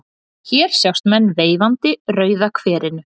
Hér sjást menn veifandi Rauða kverinu.